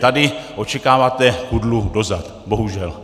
Tady očekáváte kudlu do zad, bohužel.